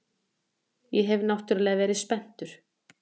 Þú hefur náttúrlega verið spenntur.